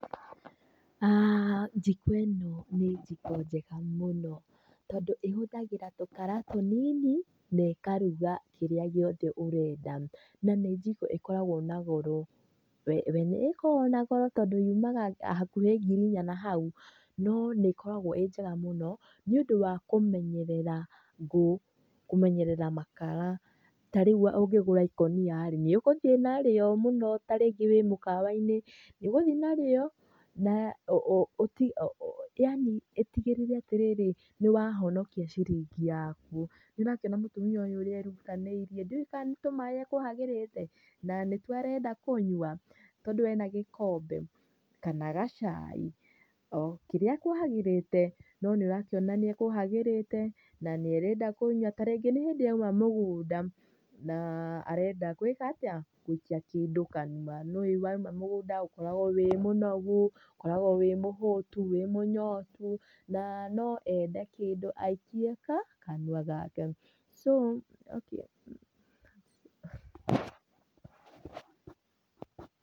Njiko ĩno nĩ njiko njega mũno tondũ ĩhũthagĩra tũkara tũnĩnĩ, na ĩkaruga kĩrĩa gĩothe ũrenda. Na nĩ njĩko ĩkoragwo na goro. We nĩ ĩkoragwo na goro tondũ yũmaga hakuhĩ ngiri inya nahau. No nĩ ĩkoragwo ĩnjega mũno nĩ ũndũ wa kũmenyerera ngũũ, kũmenyerera makara. Ta rĩũ ũngĩgũra makara ikũnia rĩ, nĩ ũgũthiĩ narĩo mũno. Ta rĩngĩ nĩ mũkawa-inĩ, nĩ ũgũthiĩ marĩo na ũtigĩrĩre, ĩtigĩrĩre nĩ wahonokia ciringi yaku. Nĩ ũrakĩona ũrĩa mũtumia ũyũ erutanĩirie, ndiũĩ kana nĩ tũmaĩ ekũhagĩrĩte, na nĩtwo arenda kũnyua, tondũ ena gĩkombe, kana gacai, okĩrĩa ekũhagĩrĩte. No nĩ ũrakĩona nĩ ekũhagĩrĩte na nĩ arenda kũnyua. Ningĩ nĩ hĩndĩ aũma mũgũnda na arenda gũĩka atia, gũikia kĩndũ kanũa. Nĩ ũĩ waũma mũgũnda ũkoragwo wĩ mũnogu, ũkoragwo wĩ mũhũtu, wĩ mũnyotu na no ende kĩndũ aikie ka? Kanua gake. So, okay.